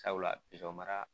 Sabula mara